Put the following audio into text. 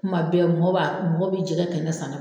Kuman bɛɛ mɔgɔ b'a, mɔgɔ b'i jɛgɛ kɛnɛ san